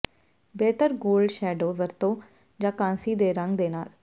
ਬਿਹਤਰ gold shadow ਵਰਤੋ ਜਾਂ ਕਾਂਸੀ ਦੇ ਰੰਗ ਦੇ ਨਾਲ